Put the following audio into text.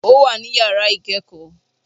Ó wà ní yàrá ikẹ́kọ̀ọ́